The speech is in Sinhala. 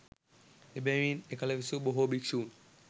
එබැවින් එකල විසූ බොහෝ භික්‍ෂූන්